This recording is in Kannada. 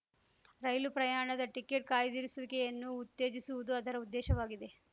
ರೈಲು ಪ್ರಯಾಣದ ಟಿಕೆಟ್‌ ಕಾಯ್ದಿರಿಸುವಿಕೆಯನ್ನು ಉತ್ತೇಜಿಸುವುದು ಅದರ ಉದ್ದೇಶವಾಗಿದೆ